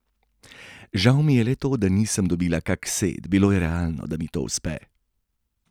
Žal mi je le to, da nisem dobila kak set, bilo je realno, da mi to uspe.